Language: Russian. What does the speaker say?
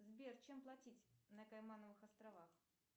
сбер чем платить на каймановых островах